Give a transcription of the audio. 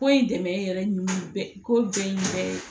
Ko in dɛmɛ yɛrɛ ko jɛn in yɛrɛ ye